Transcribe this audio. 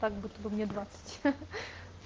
как будто бы мне двадцать